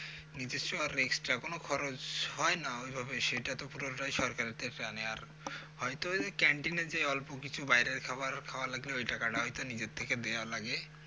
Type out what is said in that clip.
নিজস্ব আর extra কোন খরচ হয় না ওইভাবে সেটা তো পুরোটাই তরকারিতে জানে আর হয়ত ক্যান্টিনের যে অল্প কিছু বাইরের খাবার খাওয়া লাগলে ওই টাকা টা হয়ত নিজের থেকে দেয়াও লাগে